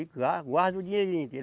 E guarda o dinheirinho dele.